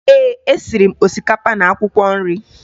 Ee, esiri m osikapa na akwụkwọ nri